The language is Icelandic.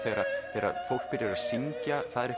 þegar fólk byrjar að syngja það er